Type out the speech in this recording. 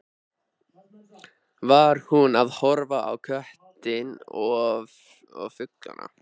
Var hún að horfa á köttinn og fluguna?